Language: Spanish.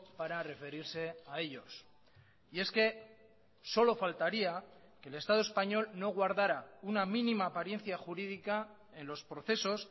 para referirse a ellos y es que solo faltaría que el estado español no guardara una mínima apariencia jurídica en los procesos